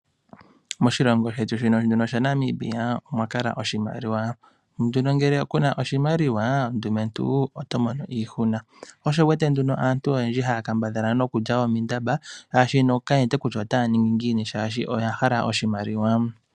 Moshilongo shetu shaNamibia omwa kala oshimaliwa. Ngele ku na oshimaliwa, ndumentu oto mono iihuna. Sho osho wu wete nduno aantu oyendji haya kambadhala nokulya omindamba oshoka kaye shi kutya naya ninge ngiini, yo ya hala oshimaliwa.